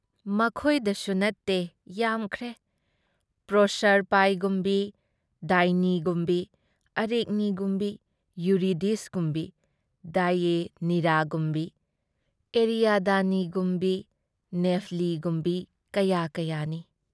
ꯃꯈꯣꯏꯗꯁꯨ ꯅꯠꯇꯦ ꯌꯥꯝꯈ꯭ꯔꯦ ꯄ꯭ꯔꯣꯁꯔꯄꯥꯏꯒꯨꯝꯕꯤ ꯗꯥꯏꯅꯤꯒꯨꯝꯕꯤ ꯑꯔꯦꯛꯅꯤꯒꯨꯝꯕꯤ ꯌꯨꯔꯤꯗꯤꯁꯒꯨꯝꯕꯤ ꯗꯦꯏꯑꯦꯅꯤꯔꯥꯒꯨꯝꯕꯤ ꯑꯦꯔꯤꯌꯥꯗꯅꯤꯒꯨꯝꯕꯤ ꯅꯦꯐꯂꯤꯒꯨꯝꯕꯤ ꯀꯌꯥ ꯀꯌꯥꯅꯤ ꯫